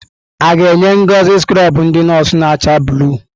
A ga-enye Ngozi skrọbụ ndị nọọsụ na-acha blụu?